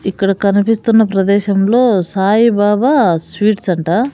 ఇక్కడ కనిపిస్తున్న ప్రదేశంలో సాయిబాబా స్వీట్స్ అంట.